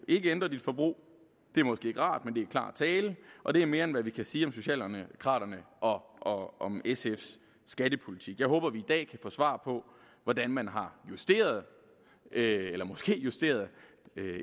ikke ændrer sit forbrug det er måske ikke rart men det er klar tale og det er mere end hvad vi kan sige om socialdemokraterne og og sfs skattepolitik jeg håber at vi i dag kan få svar på hvordan man har justeret eller måske justeret